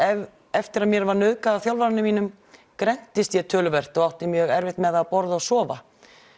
eftir að mér var nauðgað af þjálfaranum mínum grenntist ég töluvert og átti mjög erfitt með að borða og sofa